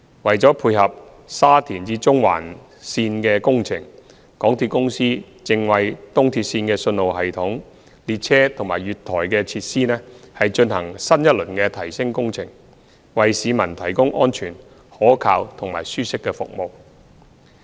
為了配合沙田至中環線的工程，港鐵公司正為東鐵線的信號系統、列車及月台的設施，進行新一輪的提升工程，為市民提供安全、可靠及舒適的服務。